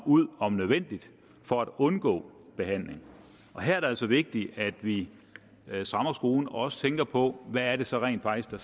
ud om nødvendigt for at undgå behandling her er det altså vigtigt at vi strammer skruen og også tænker på hvad det så rent faktisk er